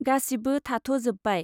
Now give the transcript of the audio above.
गासिबो थाथ' जोब्बाय।